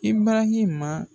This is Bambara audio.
I barahima